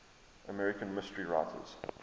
american mystery writers